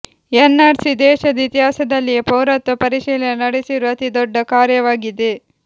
N R C ದೇಶದ ಇತಿಹಾಸದಲ್ಲಿಯೇ ಪೌರತ್ವ ಪರಿಶೀಲನೆ ನಡೆಸಿರುವ ಅತೀ ದೊಡ್ಡ ಕಾರ್ಯವಾಗಿದೆ